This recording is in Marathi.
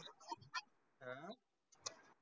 अं